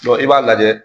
i b'a lajɛ